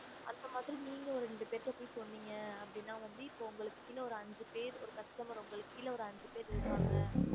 அந்தமாரி நீங்க ஒரு இரண்டு பெருகிட்ட சொன்னிங்க ந உங்களுக்கு கிளை ஐந்து பேர் இருகாங்க